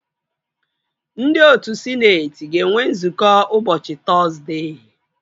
Ndị otu sịneetị ga-enwe nzukọ ụbọchị Tọzdee